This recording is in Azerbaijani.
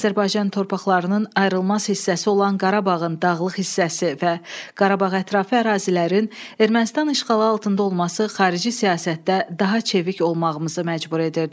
Azərbaycan torpaqlarının ayrılmaz hissəsi olan Qarabağın dağlıq hissəsi və Qarabağ ətrafı ərazilərin Ermənistan işğalı altında olması xarici siyasətdə daha çevik olmağımızı məcbur edirdi.